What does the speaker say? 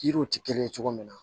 Yiriw tɛ kelen ye cogo min na